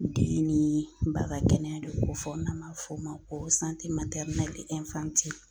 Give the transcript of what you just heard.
Den ni ba ka kɛnɛya de bɛ kofɔ n'an b'a fɔ o ma ko